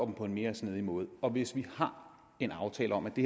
på en mere snedig måde og hvis vi har en aftale om at det